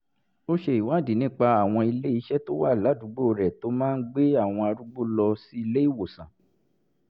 ó ṣèwádìí nípa àwọn ilé-iṣẹ́ tó wà ládùúgbò rẹ̀ tó máa ń gbé àwọn arúgbó lọ sí ilé-ìwòsàn